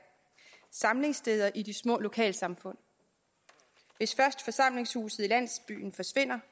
samlingssteder i de små lokalsamfund hvis først forsamlingshuset i landsbyen forsvinder